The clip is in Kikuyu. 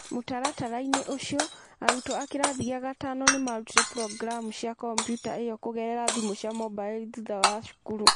Mũtaratara-inĩ ũcio, arutwo a kĩrathi gĩa gatano nĩ maarutire programu cia kompiuta ĩyo kũgerera thimũ cia mobaili thutha wa cukuru.